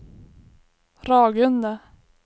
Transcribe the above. Ragunda